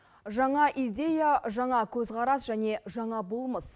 жаңа идея жаға қөзқарас және жаңа болмыс